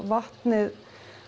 vatnið